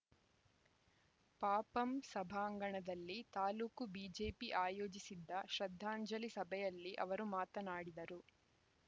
ಪಪಂ ಸಭಾಂಗಣದಲ್ಲಿ ತಾಲೂಕು ಬಿಜೆಪಿ ಆಯೋಜಿಸಿದ್ದ ಶ್ರದ್ಧಾಂಜಲಿ ಸಭೆಯಲ್ಲಿ ಅವರು ಮಾತನಾಡಿದರು